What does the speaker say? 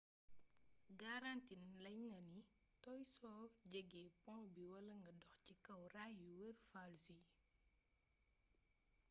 garanti nañ la ni nga tooy soo jeggee poŋ bi wala nga dox ci kaw raay yuy wër falls yi